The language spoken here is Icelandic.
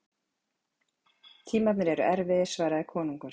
Tímarnir eru erfiðir, svaraði konungur.